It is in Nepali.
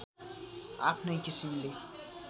आफ्नै किसिमले